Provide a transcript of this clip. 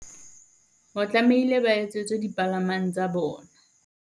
Ho tlameile ba etsetswe dipalamang tsa bona.